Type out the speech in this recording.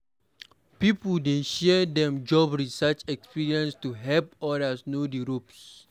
Pipo dey share dem job search experiences to help others know di ropes.